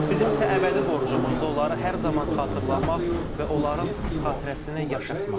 Bizim isə əbədi borcumuzdur onları hər zaman xatırlamaq və onların xatirəsini yaşatmaq.